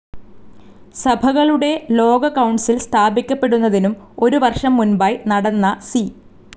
സഭകളുടെ ലോക കൌൺസിൽ സ്ഥാപിക്കപ്പെടുന്നതിനും ഒരു വർഷം മുൻപായി നടന്ന സി.